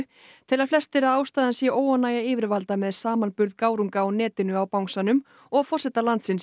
telja flestir að ástæðan sé óánægja yfirvalda með samanburð gárunga á netinu á bangsanum og forseta landsins